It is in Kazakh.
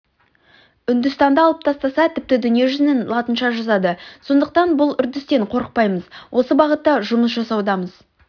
үндістанды алып тастаса тіпті дүниежүзінің латынша жазады сондықтан бұл үрдістен қорықпаймыз осы бағытта жұмыс жасаудамыз